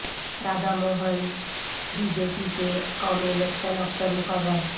Radha Mohan B J P کے قومی election افسر مقرر